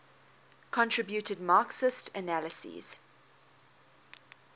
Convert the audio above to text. contributed marxist analyses